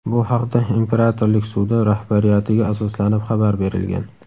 Bu haqda imperatorlik sudi rahbariyatiga asoslanib xabar berilgan.